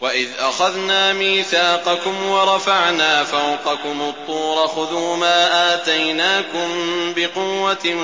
وَإِذْ أَخَذْنَا مِيثَاقَكُمْ وَرَفَعْنَا فَوْقَكُمُ الطُّورَ خُذُوا مَا آتَيْنَاكُم بِقُوَّةٍ